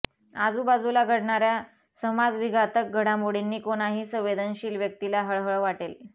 आजूबाजूला घडणाऱ्या समाजविघातक घडामोडींनी कोणाही संवेदनशील व्यक्तीला हळहळ वाटेल